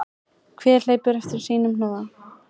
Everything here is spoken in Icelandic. Hver hleypur eftir sínu hnoða.